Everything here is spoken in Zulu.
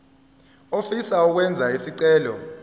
ofisa ukwenza isicelo